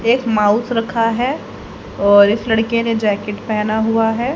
एक माउस रखा है और इस लड़के ने जैकेट पहना हुआ है।